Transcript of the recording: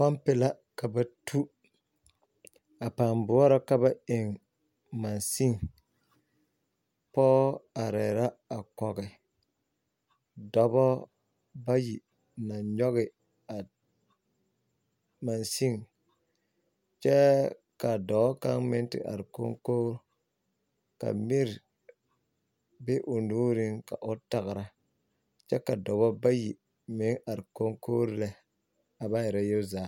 Pompi la ka ba tu a pãã boɔrɔ ka ba eŋ mansin pɔge arɛɛ la a kɔge dɔbɔ bayi naŋ nyɔge a mansin kyɛ ka dɔɔ kaŋ meŋ te are koŋkori ka miri be o nuuriŋ ka o tagra kyɛ ka dɔbɔ bayi meŋ are koŋkoriŋ lɛ a ba erɛ yele zaa.